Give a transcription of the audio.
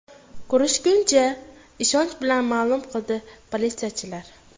Ko‘rishguncha!”, ishonch bilan ma’lum qildi politsiyachilar.